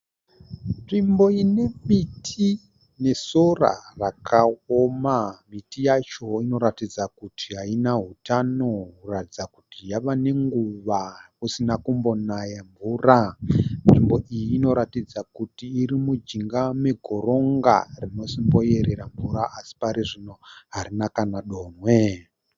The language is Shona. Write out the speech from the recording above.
Nzvimbo inemiti nesora rakaoma. Miti yacho inoratidza kuti haina hutano kuratidza kuti yava nenguva kusina kumbonaya mvura. Nzvimbo iyi inoratidza kuti irimujinga megoronga rinosimboyerera mvura asi parizvino harina kana donhwe.